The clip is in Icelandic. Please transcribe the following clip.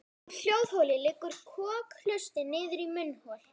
Úr hljóðholi liggur kokhlustin niður í munnhol.